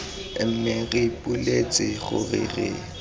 mme re ipoleletse gore re